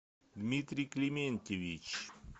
дмитрий климентьевич